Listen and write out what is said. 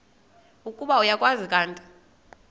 ukuba uyakwazi kanti